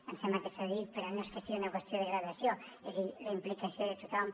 ens sembla que s’ha dit però no és que sigui una qüestió de gradació és a dir la implicació de tothom